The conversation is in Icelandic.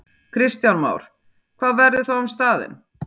Kristján Már: Hvað verður þá um staðinn?